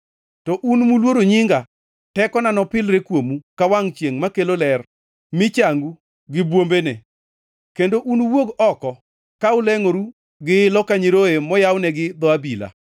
To un muluoro nyinga, tekona nopilre kuomu ka wangʼ chiengʼ makelo ler mi changu gi bwombene. Kendo unuwuog oko ka ulengʼoru gi ilo ka nyiroye moyawnegi dho abila.